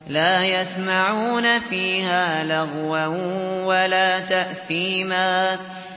لَا يَسْمَعُونَ فِيهَا لَغْوًا وَلَا تَأْثِيمًا